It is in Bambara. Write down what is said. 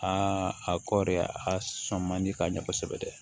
Aa a kɔɔri a ka sɔn man di ka ɲɛ kosɛbɛ dɛ